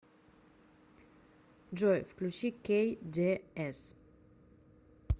джой включи кей дэ эс